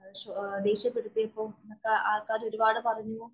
ദേഷ്യപ്പെടുത്തിയപ്പം ആള്‍ക്കാര് ഒരു പാട് പറഞ്ഞു.